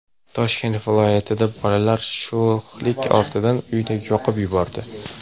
Toshkent viloyatida bolalar sho‘xlik ortidan uyni yoqib yubordi.